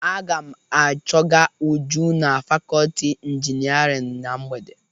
Aga m achọga Uju na fakọọti injinarịn na mgbede.